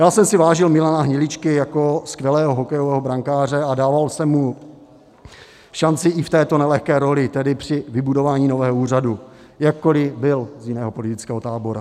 Já jsem si vážil Milana Hniličky jako skvělého hokejového brankáře a dával jsem mu šanci i v této nelehké roli, tedy při vybudování nového úřadu, jakkoliv byl z jiného politického tábora.